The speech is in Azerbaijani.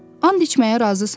And içməyə razısan?